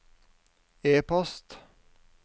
e-post